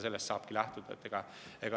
Sellest saabki lähtuda.